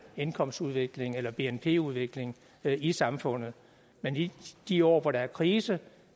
indkomstudvikling eller bnp udvikling i samfundet men i de år hvor der er krise